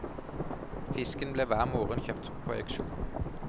Fisken ble hver morgen kjøpt på auksjon.